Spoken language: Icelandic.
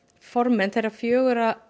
formenn þeirra fjögurra